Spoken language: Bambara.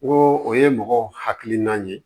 N ko o ye mɔgɔ hakili nan ye